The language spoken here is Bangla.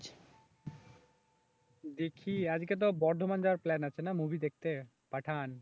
দেখি আজকে তো বর্ধমান যাওয়ার প্ল্যান আছে না মুভি দেখতে পাঠান